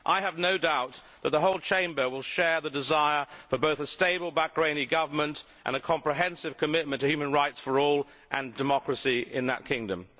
I have no doubt that the whole Chamber will share the desire for both a stable Bahraini Government and a comprehensive commitment to human rights for all and democracy in that kingdom.